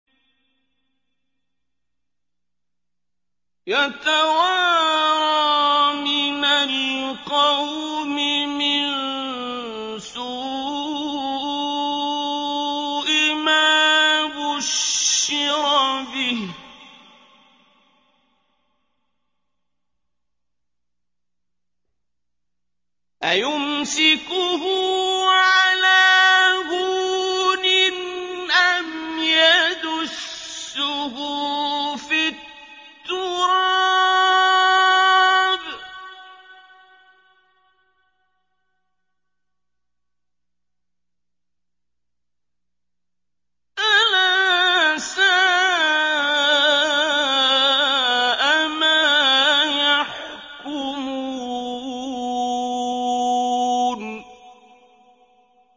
يَتَوَارَىٰ مِنَ الْقَوْمِ مِن سُوءِ مَا بُشِّرَ بِهِ ۚ أَيُمْسِكُهُ عَلَىٰ هُونٍ أَمْ يَدُسُّهُ فِي التُّرَابِ ۗ أَلَا سَاءَ مَا يَحْكُمُونَ